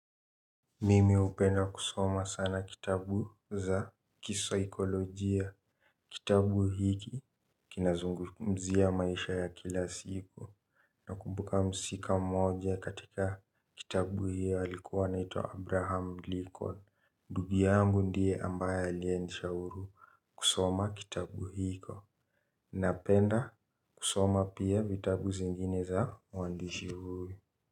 Mimi hupenda kusoma sana kitabu za kisaikolojia. Kitabu hiki kinazungumzia maisha ya kila siku. Nakumbuka mhusika mmoja katika kitabu hii alikuwa anaitwa Abraham Lincoln. Ndugu yangu ndiye ambaye aliyenishauri kusoma kitabu hiko. Napenda kusoma pia vitabu zingine za mwandishi huyu.